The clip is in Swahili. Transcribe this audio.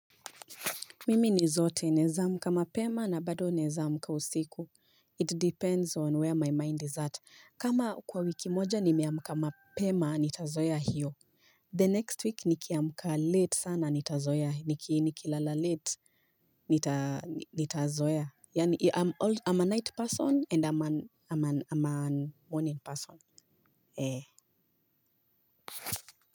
Mimi ni zote naeza amka mapema na bado naeza amka usiku It depends on where my mind is at. Kama kwa wiki moja nimeamka mapema nitazoea hiyo. The next week nikiamka late sana nitazoea. Nikilala late nitazoea. Yaani I'm a night person and I'm a morning person.